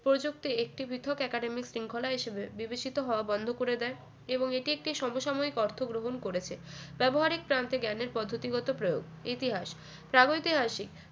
প্রযুক্তি একটি পৃথক academic শৃঙ্খলা হিসেবে বিবেচিত হওয়া বন্ধ করে দেয় এবং এটি একটি সমসাময়িক অর্থ গ্রহণ করেছে ব্যবহারিক প্রান্তে জ্ঞানের পদ্ধতিগত প্রয়োগ ইতিহাস প্রাগৈতিহাসিক